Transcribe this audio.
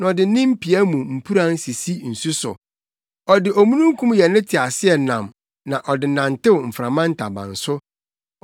na ɔde ne mpia mu mpuran sisi nsu so. Ɔde omununkum yɛ ne teaseɛnam na ɔde nantew mframa ntaban so.